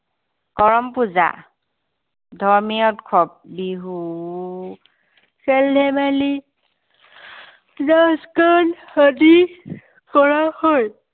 কৰম পূজা। ধৰ্মীয় উৎসৱ বিহু, খেল-ধেমালী, নাচ গান আদি, কৰা হয়।